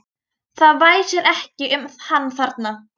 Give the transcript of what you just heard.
Það væsir ekki um hann þarna.